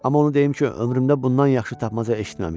Amma onu deyim ki, ömrümdə bundan yaxşı tapmaca eşitməmişdim.